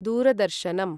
दूरदर्शनम्